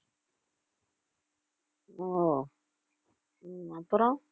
ஓ உம் அப்புறம்